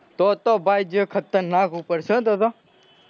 તો તો ભાઈ જે ખતરનાક ઉપડશે તો તો,